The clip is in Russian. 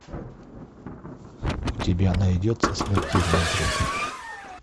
у тебя найдется смертельный друг